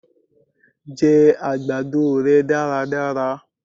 jẹ àgbàdo rẹ daradara!